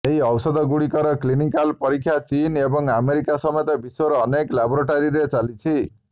ଏହି ଔଷଧଗୁଡିକର କ୍ଲିନିକାଲ୍ ପରୀକ୍ଷା ଚୀନ୍ ଏବଂ ଆମେରିକା ସମେତ ବିଶ୍ୱର ଅନେକ ଲାବୋରେଟୋରୀରେ ଚାଲିଛି